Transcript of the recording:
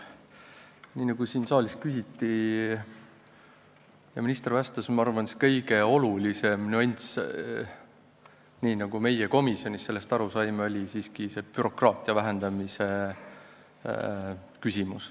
Nii nagu siin saalis küsiti ja minister vastas, arvan ka mina ja nii me saime ka komisjonis sellest aru, et kõige olulisem nüanss on siiski bürokraatia vähendamine.